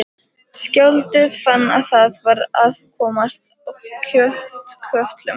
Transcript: Skáldið fann að það var að komast að kjötkötlunum.